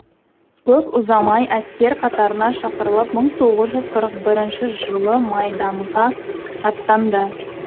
көп ұзамай әскер қатарына шақырылып мың тоғыз жүз қырық бірінші жылы майданға аттанды